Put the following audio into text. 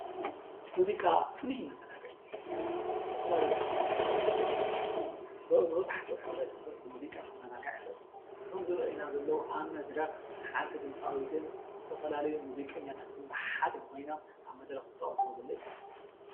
ሙዚቃ ፍሉይ መዘናግዒ እዩ። ዝተፈላለዩ ክፋል ሕብረተሰብ መብዛሕትኡ ሕብረተሰብ ብሙዚቃ ክዛናጋዕ ይክእል እዩ። እቶም ዝርኣዩና ዘለው ኣብ መድረክ ሓንቲ ድምፃዊትን ዝትፈላለዩ ሙዚቀኛታት ብሓደ ኮይኖም ኣብ መድረክ ዝፃወትዎ ዘሎ እዩ።